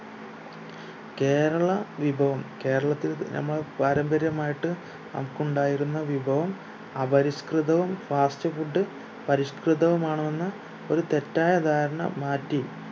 കേരള വിഭവം കേരളത്തിൽ ഏർ നമ്മ പാര്യമ്പര്യമായിട്ട് നമുക്ക് ഉണ്ടായിരുന്ന വിഭവം അപരിഷ്‌കൃതവും fast food പരിഷ്‌കൃതവും ആണ് എന്ന് ഒരു തെറ്റായ ധാരണ മാറ്റി